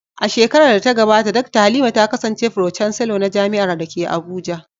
A shekarar da ta gabata, Dakta Halima ta kasance Pro-chancellor na jami’ar da ke Abuja.